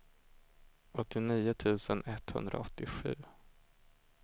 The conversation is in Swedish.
åttionio tusen etthundraåttiosju